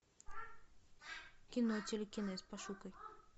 кино телекинез пошукай